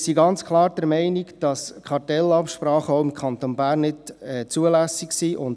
Wir sind ganz klar der Meinung, dass Kartellabsprachen auch im Kanton Bern nicht zulässig sind.